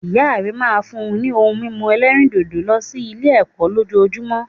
Ìya rẹ máa n fún ni ohun mímu ẹlẹ́rìndòdò lọ sí Ilé ẹ̀kọ́ lójojúmó